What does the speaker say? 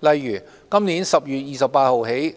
例如自今年10月28日起，